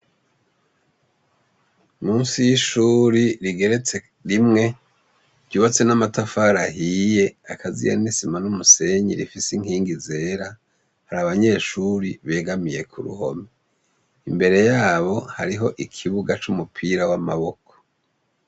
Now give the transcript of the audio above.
Musi y'ishuri rigeretse rimwe ryubatse n'amatafaraahiye akaziya nisima n'umusenyi rifise inkingi zera hari abanyeshuri begamiye ku ruhomi imbere yabo hariho ikibuga c'umupira w'amaboko.